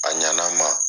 A ɲɛna a ma